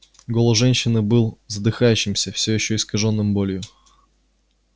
голос женщины был задыхающимся ещё искажённым болью